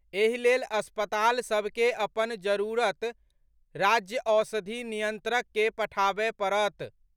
एहि लेल अस्पताल सभ के अपन जरूरत राज्यक औषधि नियंत्रक के पठाबय पड़त।